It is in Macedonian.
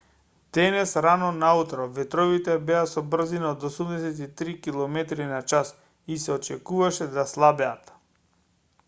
денес рано наутро ветровите беа со брзина од 83 km/h и се очекуваше да слабеат